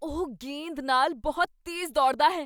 ਉਹ ਗੇਂਦ ਨਾਲ ਬਹੁਤ ਤੇਜ਼ ਦੌੜਦਾ ਹੈ!